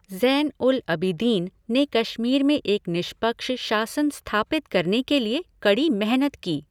ज़ैन उल अबिदीन ने कश्मीर में एक निष्पक्ष शासन स्थापित करने के लिए कड़ी मेहनत की।